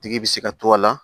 Tigi bi se ka to a la